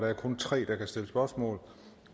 er kun tre der kan stille spørgsmål